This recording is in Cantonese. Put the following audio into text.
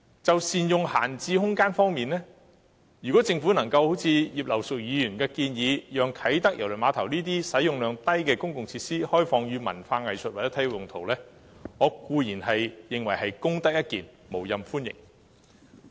就善用閒置空間方面，如政府能夠一如葉劉淑儀議員所建議，開放啟德郵輪碼頭這個使用量低的公共設施作為文化藝術或體育用途，我固然認為是功德一件，無任歡迎。